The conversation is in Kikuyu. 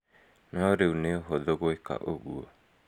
No rĩu nĩ ũhũthũ gwika ũguo.